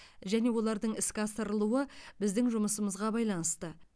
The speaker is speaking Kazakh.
және олардың іске асырылуы біздің жұмысымызға байланысты